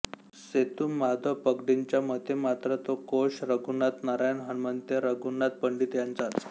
सेतु माधव पगडींच्यामतेमात्र तो कोश रघुनाथ नारायण हणमंतेरघुनाथ पंडित यांचाच